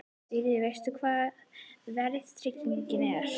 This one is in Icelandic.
Sigríður: Veist þú hvað verðtrygging er?